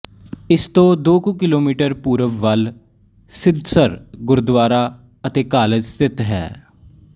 ਇਸ ਤੋਂ ਦੋ ਕੁ ਕਿਲੋਮੀਟਰ ਪੂਰਬ ਵੱਲ ਸਿਧਸਰ ਗੁਰਦੁਆਰਾ ਅਤੇ ਕਾਲਜ ਸਥਿਤ ਹੈ